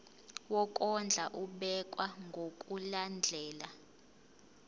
wokondla ubekwa ngokulandlela